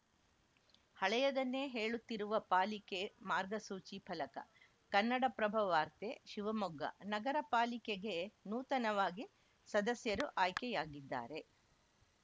ಹಳೆಯದನ್ನೇ ಹೇಳುತ್ತಿರುವ ಪಾಲಿಕೆ ಮಾರ್ಗಸೂಚಿ ಫಲಕ ಕನ್ನಡಪ್ರಭವಾರ್ತೆ ಶಿವಮೊಗ್ಗ ನಗರಪಾಲಿಕೆಗೆ ನೂತನವಾಗಿ ಸದಸ್ಯರು ಆಯ್ಕೆಯಾಗಿದ್ದಾರೆ